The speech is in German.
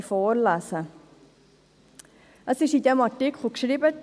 Im entsprechenden dem Artikel steht: